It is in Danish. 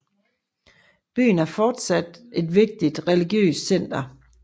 Byen er fortsat et vigtigt religiøst center